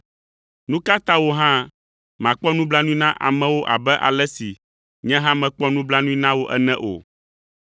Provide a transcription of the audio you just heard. Nu ka ta wò hã màkpɔ nublanui na amewo abe ale si nye hã mekpɔ nublanui na wò ene o?’